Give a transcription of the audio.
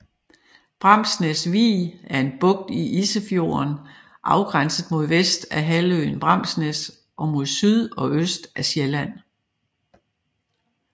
Bramsnæs Vig er en bugt i Isefjorden afgrænset mod vest af halvøen Bramsnæs og mod syd og øst af Sjælland